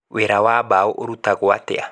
Wĩra wa mbaũ ũrutagwo atĩa?